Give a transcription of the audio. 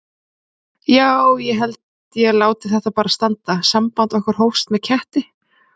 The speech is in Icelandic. Já ég held ég láti þetta bara standa: samband okkar hófst með ketti.